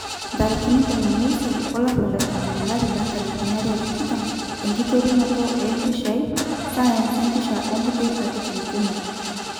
18 olapa le tomon 2020 enkiterunoto o mpishai, science empisha ombukui katitin kumok Dkt.